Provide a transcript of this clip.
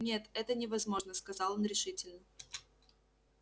нет это невозможно сказал он решительно